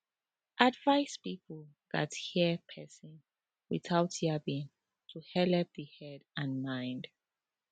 advice people gats hear persin without yabbing to helep the head and mind